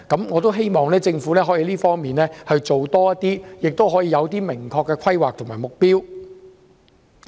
我希望政府可以在這方面多花工夫，訂出明確的規劃和目標。